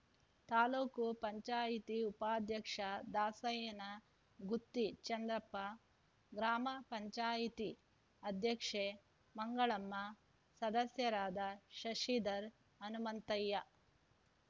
ತಾಲೂಕು ಪಂಚಾಯಿತಿ ಉಪಾಧ್ಯಕ್ಷ ದಾಸಯ್ಯನ ಗುತ್ತಿ ಚಂದ್ರಪ್ಪ ಗ್ರಾಮ ಪಂಚಾಯಿತಿ ಅಧ್ಯಕ್ಷೆ ಮಂಗಳಮ್ಮ ಸದಸ್ಯರಾದ ಶಶಿಧರ್‌ ಹನುಮಂತಯ್ಯ